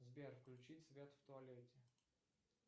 сбер включить свет в туалете